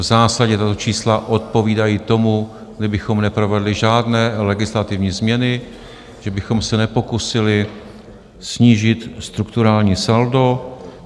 V zásadě tato čísla odpovídají tomu, kdybychom neprovedli žádné legislativní změny, že bychom se nepokusili snížit strukturální saldo.